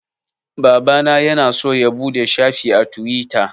Babana ya na so ya buɗe shafi a Tiwita